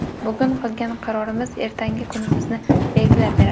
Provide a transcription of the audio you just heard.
Bugun qilgan qarorimiz ertangi kunimizni belgilab beradi.